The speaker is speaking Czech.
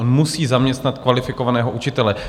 On musí zaměstnat kvalifikovaného učitele.